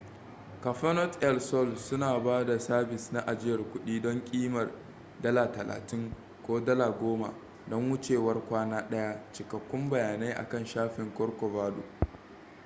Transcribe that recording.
cafenet el sol suna ba da sabis na ajiyar kuɗi don ƙimar us $ 30 ko $ 10 don wucewar kwana ɗaya; cikakkun bayanai akan shafin corcovado